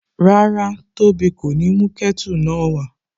Rárá, tóbi kò ní mú kẹ́tù náà wá